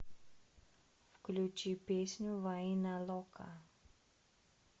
включи песню вайна лока